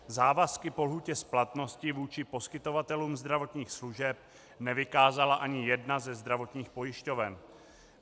Závazky po lhůtě splatnosti vůči poskytovatelům zdravotních služeb nevykázala ani jedna ze zdravotních pojišťoven.